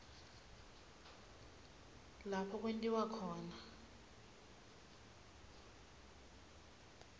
lapho kwentiwe khona